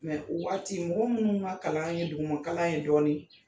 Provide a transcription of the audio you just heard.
Mɛ o waati mɔgɔ minnu ka kalan ye duguma kalan ye dɔɔnin